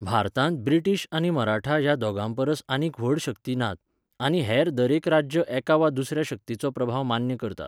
भारतांत ब्रिटीश आनी मराठा ह्या दोगां परस आनीक व्हड शक्ती नात, आनी हेर दरेक राज्य एका वा दुसऱ्या शक्तीचो प्रभाव मान्य करता.